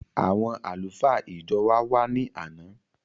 Àwọn àlùfáà ìjọ wa wàá ni àná